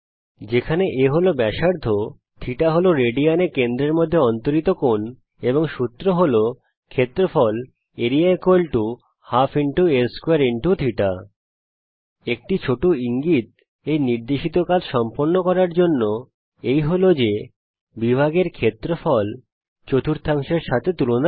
যেখানে a হল ব্যাসার্ধ θ হল রেডিয়ান এ কেন্দ্রের মধ্যে অন্তরিত কোণ এবং সূত্র হল ক্ষেত্রফল ½ আ2 θ একটি ছোট ইঙ্গিত এই নির্দেশিত কাজ সম্পন্ন করার জন্যে এই যে বিভাগ এর ক্ষেত্রফল চতুর্থাংশের সাথে তুলনা করা